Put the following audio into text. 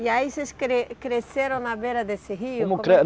E aí vocês cresceram na beira desse rio?